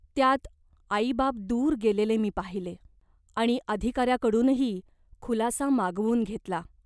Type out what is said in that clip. त्यात आईबाप दूर गेलेले मी पाहिले. आणि अधिकाऱ्यांकडूनही खुलासा मागवून घेतला.